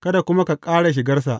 kada kuma ka ƙara shigarsa.